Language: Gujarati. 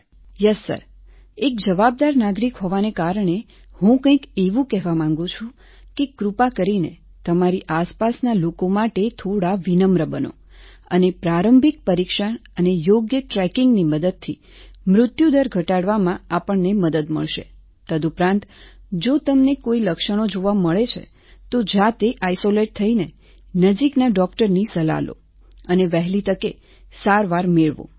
સુરેખા યસ સર એક જવાબદાર નાગરિક હોવાને કારણે હું કંઈક એવું કહેવા માંગુ છું કે કૃપા કરીને તમારી આસપાસના લોકો માટે થોડા વિનમ્ર બનો અને પ્રારંભિક પરીક્ષણ અને યોગ્ય ટ્રેકિંગની મદદથી મૃત્યુ દર ઘટાડવામાં આપણને મદદ મળશે તદુપરાંત જો તમને કોઈ લક્ષણો જોવા મળે છે તો જાતે આઈસોલેટ થઈને નજીકના ડોકટરની સલાહ લો અને વહેલી તકે સારવાર મેળવો